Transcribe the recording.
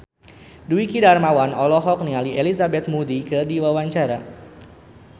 Dwiki Darmawan olohok ningali Elizabeth Moody keur diwawancara